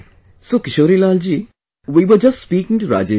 So Kishorilal ji, we were just speaking to Rajesh ji